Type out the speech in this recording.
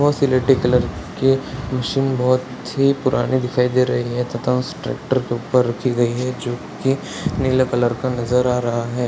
और स्लेटी कलर के मशीन बहुत ही पुरानी दिखाई दे रही है तथा उस ट्रैक्टर के ऊपर रखी गई है जो कि नीले कलर का नजर आ रहा है।